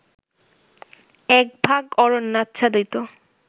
এক ভাগ অরণ্যাচ্ছাদিত